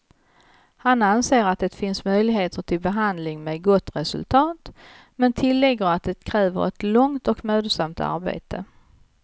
Han anser att det finns möjligheter till behandling med gott resultat, men tillägger att det kräver ett långt och mödosamt arbete.